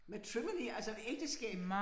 Matrimony altså ægteskab